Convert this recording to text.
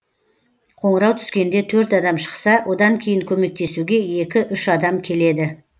қоңырау түскенде төрт адам шықса одан кейін көмектесуге екі үш адам келеді